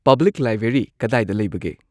public library ꯀꯗꯥꯏꯗ ꯂꯩꯕꯒꯦ